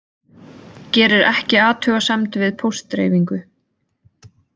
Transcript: Gerir ekki athugasemd við póstdreifingu